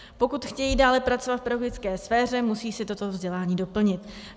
Pokud chtějí dále pracovat v pedagogické sféře, musí si toto vzdělání doplnit.